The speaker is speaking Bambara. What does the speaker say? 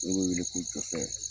Min me weele ko gɛsɛ.